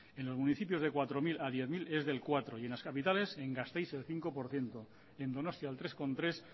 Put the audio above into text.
en los municipios de cuatro mil a diez mil es del cuatro y en las capitales en gasteiz el cinco por ciento en donostia el tres coma tres